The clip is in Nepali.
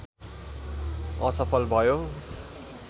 असफल भयो